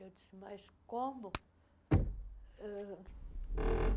Eu disse, mas como? ãh